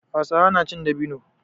Hausawa na cin dabino.